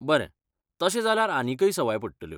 बरें, तशें जाल्यार आनीकय सवाय पडटल्यो.